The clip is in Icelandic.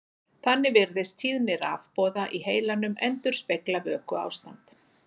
Þannig virðist tíðni rafboða í heilanum endurspegla vökuástand.